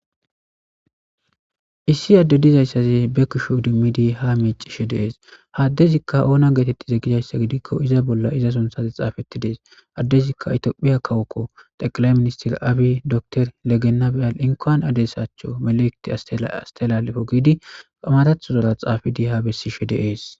Issi adde dizayssaze be kusho dimmidi ha miici she deees haaddezikka oona geetettize gidayssa gidikko iza bolla iza sonthaze xaafetti dees addezikka itophiya kawokko teqala ministir aabi dotor legenabial inkan addesacho melekti astelalefo giidi qamadathodola xaafidi ha bessi she deees